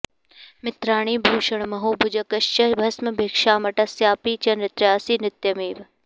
मित्राणि भूषणमहो भुजगश्च भस्म भिक्षामटस्यपि च नृत्यसि नित्यमेव